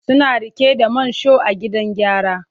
Suna rike da Mansur a gidan gyara.